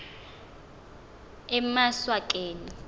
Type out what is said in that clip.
emaswakeni